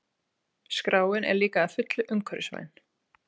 Skráin er líka að fullu umhverfisvæn